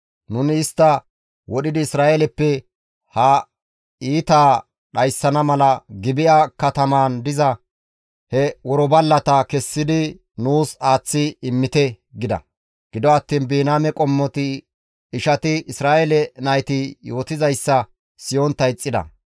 Nuni istta wodhidi Isra7eeleppe ha iitaa dhayssana mala Gibi7a katamaan diza he worballata kessidi nuus aaththi immite» gida. Gido attiin Biniyaame qommoti ishati Isra7eele nayti yootizayssa siyontta ixxida.